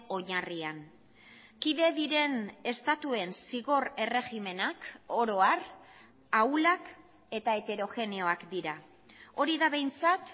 oinarrian kide diren estatuen zigor erregimenak oro har ahulak eta heterogeneoak dira hori da behintzat